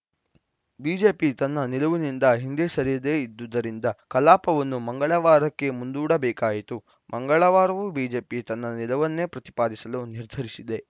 BJP ತನ್ನ ನಿಲುವಿನಿಂದ ಹಿಂದೆ ಸರಿಯದೇ ಇದ್ದುದರಿಂದ ಕಲಾಪವನ್ನು ಮಂಗಳವಾರಕ್ಕೆ ಮುಂದೂಡಬೇಕಾಯಿತು ಮಂಗಳವಾರವೂ ಬಿಜೆಪಿ ತನ್ನ ನಿಲುವನ್ನೇ ಪ್ರತಿಪಾದಿಸಲು ನಿರ್ಧರಿಸಿದೆ